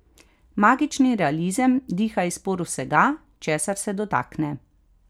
Magični realizem diha iz por vsega, česar se dotakne.